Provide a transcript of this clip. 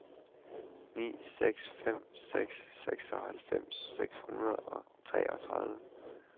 ni seks fem seks seksoghalvfems seks hundrede og treogtredive